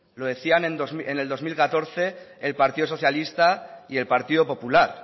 lo decían en el dos mil catorce el partido socialista y el partido popular